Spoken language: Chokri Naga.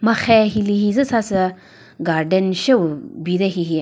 marhe hilü hi züsa sü garden sheo bi de hi.